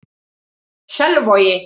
Selvogi